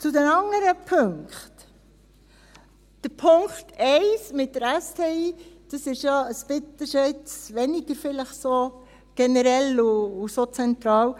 Zu den anderen Punkten: Der Punkt 1 mit der STI ist jetzt vielleicht weniger generell und zentral.